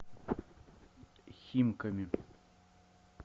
химками